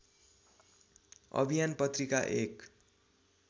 अभियान पत्रिका एक